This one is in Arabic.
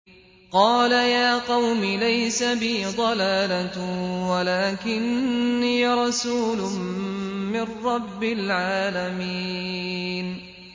قَالَ يَا قَوْمِ لَيْسَ بِي ضَلَالَةٌ وَلَٰكِنِّي رَسُولٌ مِّن رَّبِّ الْعَالَمِينَ